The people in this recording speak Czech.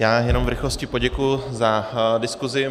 Já jenom v rychlosti poděkuji za diskusi.